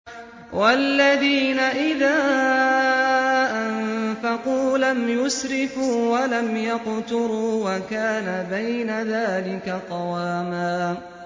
وَالَّذِينَ إِذَا أَنفَقُوا لَمْ يُسْرِفُوا وَلَمْ يَقْتُرُوا وَكَانَ بَيْنَ ذَٰلِكَ قَوَامًا